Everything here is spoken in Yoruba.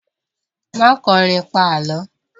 Má kọrin, pa Àlọ́!